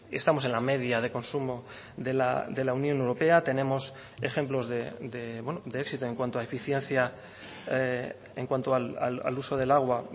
estamos en la media de consumo de la unión europea tenemos ejemplos de éxito en cuanto a eficiencia en cuanto al uso del agua